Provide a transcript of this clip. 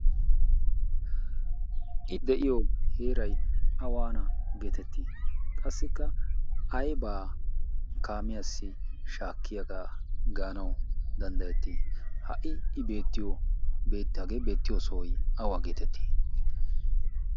i de'iyo heeray awaana geetettii qassikka aybaa kaamiyaassi shaakkiyaagaa gaanawu danddayettii ha'i i beettiyo hagee beettiyo sohoy awaa geetettii